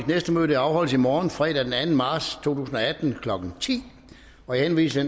næste møde afholdes i morgen fredag den anden marts to tusind og atten klokken ti jeg henviser